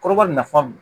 Kɔrɔbafan